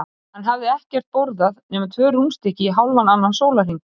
Hann hafði ekkert borðað nema tvö rúnstykki í hálfan annan sólarhring.